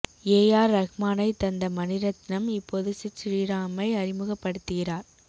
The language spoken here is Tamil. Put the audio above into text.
ஏ ஆர் ரஹ்மானை தந்த மணிரத்னம் இப்போது சித் ஸ்ரீராமை அறிமுக படுத்திக்கிறார்